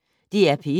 DR P1